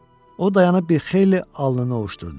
O dayanıb bir xeyli alnını ovușdurdu.